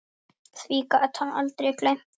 Því gat hann aldrei gleymt.